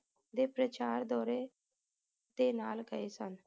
ਦੇ ਪ੍ਰਚਾਰ ਦੌਰੇ ਤੇ ਨਾਲ ਗਏ ਸਨ